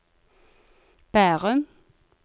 Bærum